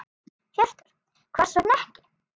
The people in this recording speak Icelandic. Hjörtur: Hvers vegna ekki?